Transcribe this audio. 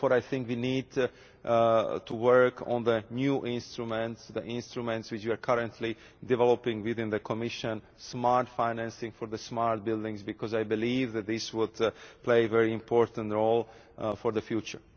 So therefore I think we need to work on the new instruments, the instruments which we are currently developing in the Commission smart financing for smart buildings, because I believe that this would play a very important role for the future.